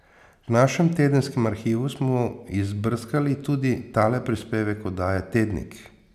V našem tedenskem arhivu smo izbrskali tudi tale prispevek oddaje Tednik.